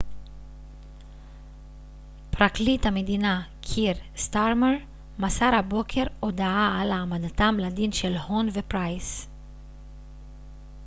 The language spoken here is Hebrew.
פרקליט המדינה קיר סטארמר מסר הבוקר הודעה על העמדתם לדין של הון ופרייס